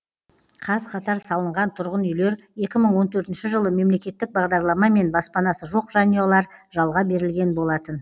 қаз қатар салынған тұрғын үйлер екі мың он төртінші жылы мемлекеттік бағдарламамен баспанасы жоқ жанұялар жалға берілген болатын